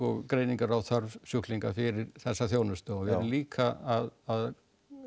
greiningar á þörf sjúklinga fyrir þessa þjónustu og við erum líka að